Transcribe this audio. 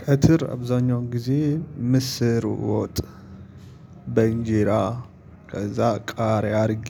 ቀተር አብዛኛውን ጊዜ ምስር ወጥ በእንጀራ ከዛ ቃሪያ አድርጌ